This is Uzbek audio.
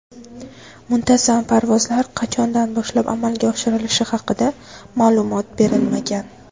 Muntazam parvozlar qachondan boshlab amalga oshirilishi haqida ma’lumot berilmagan.